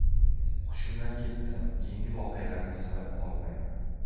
Hushimdan ketdim, keyingi voqealarni eslay olmayman.